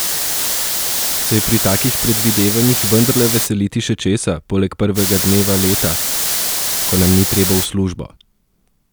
Se je pri takih predvidevanjih vendarle veseliti še česa, poleg prvega dneva leta, ko nam ni treba v službo?